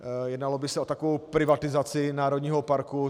Jednalo by se o takovou privatizaci národního parku.